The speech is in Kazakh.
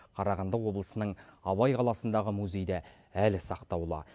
қарағанды облысының абай қаласындағы музейде әлі сақтаулы